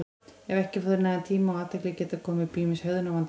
ef þeir fá ekki nægan tíma og athygli geta komið upp ýmis hegðunarvandamál